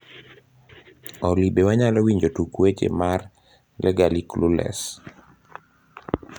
olly be wanyalo winjo tuk weche mar legally clueless